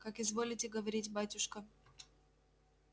как изволите говорить батюшка